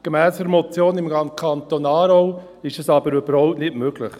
Gemäss einer Motion aus dem Kanton Aargau ist das aber überhaupt nicht möglich.